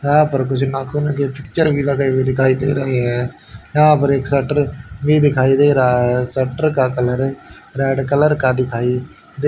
यहां पर कुछ नाखून के पिक्चर भी लगे हुए दिखाई दे रहे है यहां पर एक सटर भी दिखाई दे रहा है सटर का कलर रेड कलर का दिखाई दे--